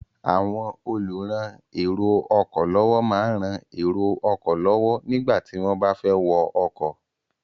Àwọn olùran èrò ọkọ̀ lọ́wọ́ máa ń rán èrò ọkọ̀ lọ́wọ́ nígbà tí wọ́n bá fẹ́ wọ ọkọ̀.